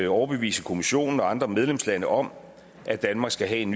overbevise kommissionen og andre medlemslande om at danmark skal have en